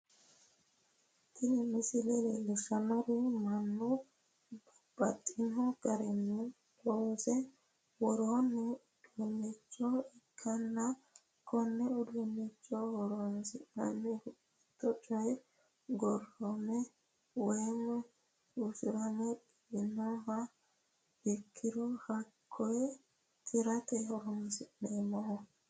Tini misile leellishshannohu mannu babbaxxino garinni loonse worroonni uduunnicho ikkanna konne uduunnicho horonsi'neemmohu, mittu coy gurdame woy usurame giwinkeha ikkiro hakkoye tirate horonsi'neemmo.